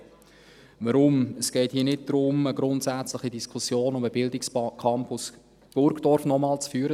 Weshalb? – Es geht hier nicht darum, noch einmal eine grundsätzliche Diskussion um den Bildungscampus Burdorf zu führen.